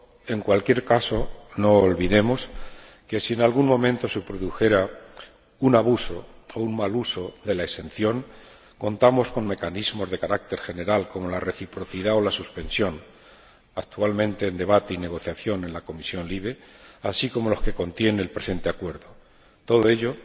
En cualquier caso, no olvidemos que, si en algún momento se produjera un abuso o un mal uso de la exención, contamos con mecanismos de carácter general, como la reciprocidad o la suspensión, actualmente en debate y negociación en la Comisión LIBE, así como con los que contiene el presente acuerdo. Por todo ello,